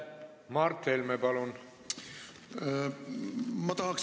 Mart Helme, palun!